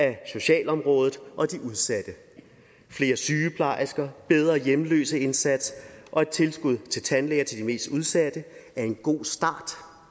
af socialområdet og de udsatte flere sygeplejersker bedre hjemløseindsats og et tilskud til tandlæger til de mest udsatte er en god start